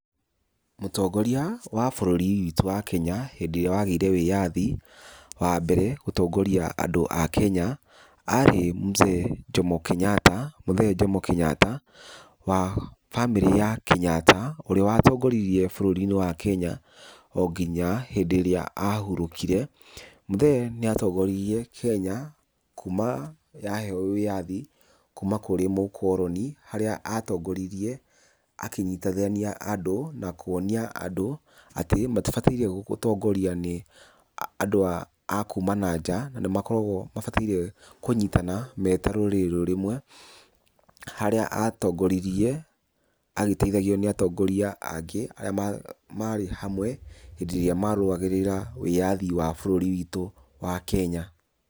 Mũtongoria wa bũrũri witü wa Kenya hĩndĩ ĩrĩa wagĩire wĩyathi, wa mbere gũtongoria andũ a Kenya arĩ Mzee Jomo Kĩnyatta, mũthee Jomo Kĩnyatta wa bamĩrĩ ya Kĩnyatta ũrĩa watongoririe bũrũri-inĩ wa Kenya o nginya rĩrĩa ahurũkire. Mũthee nĩ atongoririe Kenya kuma yaheo wĩyathi, kuma kũrĩ mũkoroni, harĩa atongoririue akĩnyitithania andũ na kuonia andũ atĩ matibataire gũtongorio nĩ andũ a kuma na nja na nĩ makoragwo mabataire kũnyitana me ta rũrĩrĩ rũmwe. Harĩa atongoririe agĩteithagio nĩ atongoria angĩ arĩa marĩ hamwe hĩndĩ ĩrĩa marũagĩrĩra wĩyathi wa bũrũri witũ wa Kenya.